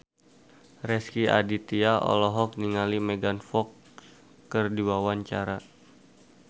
Rezky Aditya olohok ningali Megan Fox keur diwawancara